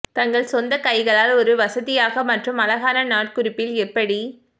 தங்கள் சொந்த கைகளால் ஒரு வசதியாக மற்றும் அழகான நாட்குறிப்பில் எப்படி